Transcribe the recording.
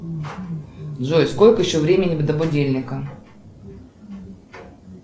джой сколько еще времени до будильника